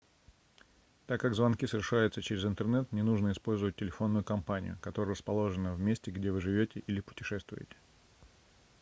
так как звонки совершаются через интернет не нужно использовать телефонную компанию которая расположена в месте где вы живете или путешествуете